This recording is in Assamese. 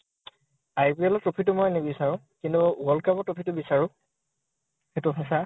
IPL ৰ trophy টো নিবিছাৰো। কিন্তু world cup ৰ trophy টো বিছাৰো। সেইটো সঁচা।